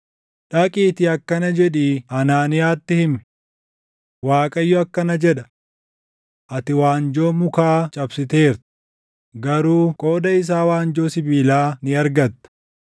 “Dhaqiitii akkana jedhii Hanaaniyaatti himi; ‘ Waaqayyo akkana jedha: Ati waanjoo mukaa cabsiteerta; garuu qooda isaa waanjoo sibiilaa ni argatta.